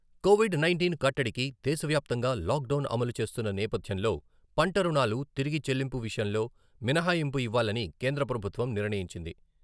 Covid nineteen కట్టడికి దేశ వ్యాప్తంగా లాక్ డౌన్ అమలు చేస్తున్న నేపథ్యంలో పంటరుణాలు తిరిగి చెల్లింపు విషయంలో మినహాయింపు ఇవ్వాలని కేంద్ర ప్రభుత్వం నిర్ణయించింది.